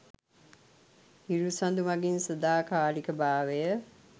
හිරු සඳු මඟින් සදාකාලික භාවය